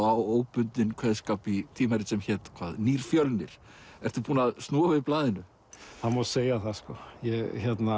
á óbundinn kveðskap í tímarit sem hét hvað nýr Fjölnir ertu búinn að snúa við blaðinu það má segja það sko ég